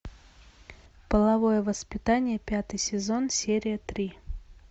половое воспитание пятый сезон серия три